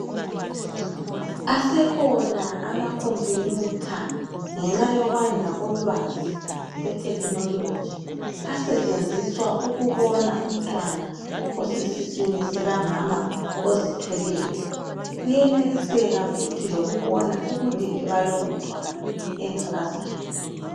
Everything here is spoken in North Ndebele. asekhona ama computer ngenxa yokwanda kolwazi lwe technology asetshenziswa ukubona umntwana osesiswini sikamama ozithweleyo kuyeneliseka futhi lokubona ubulili balowu mntana engakazalwa